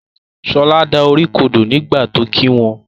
Shola dá orí kodò nígbàtí ọ kí wón.